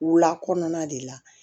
Wula kɔnɔna de la